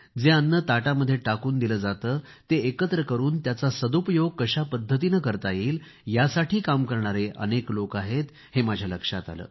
जे अन्न ताटामध्ये टाकून दिले जाते ते एकत्र करून त्याचा सदुपयोग कशा पद्धतीने करता येईल यासाठी काम करणारे अनेक लोक आहेत हे माझ्या लक्षात आले